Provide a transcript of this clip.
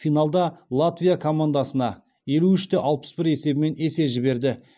финалда латвия командасына елу үште алпыс бір есебімен есе жіберді